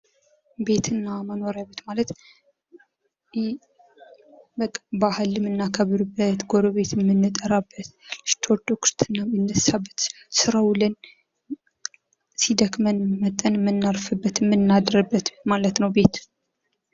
ቤት እና መኖሪያ ቤት ማለት በቃ ባህል የምናከብርበት ጎረቤት የምንጠራበት ልጅ ተወልዶ ክርስትና የሚነሳበት ስራ ዉለን ሲደክመን መጥተን የምናርፍበት የምናድርበት የምናርፍበት ማለት ነው ቤት።